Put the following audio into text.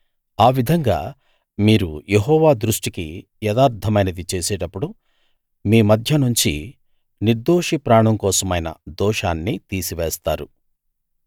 ఆ విధంగా మీరు యెహోవా దృష్టికి యథార్థమైనది చేసేటప్పుడు మీ మధ్యనుంచి నిర్దోషి ప్రాణం కోసమైన దోషాన్ని తీసివేస్తారు